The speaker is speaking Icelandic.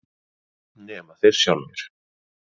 Nema þeir sjálfir.